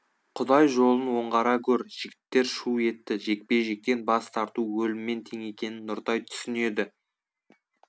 құдай жолын оңғара гөр жігіттер шу етті жекпе жектен бас тарту өліммен тең екенін нұртай түсінеді